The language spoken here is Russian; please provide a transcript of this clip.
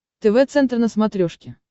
тв центр на смотрешке